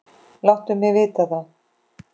Láttu mig vita það.